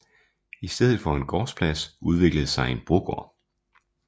I stedet for en gårdsplads udviklede sig en brogård